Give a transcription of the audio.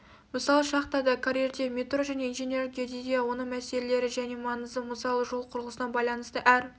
мысалы шахтада карьерде метро және инженерлік геодезия оның мәселелері және маңызы мысалы жол құрылысына байланысты әр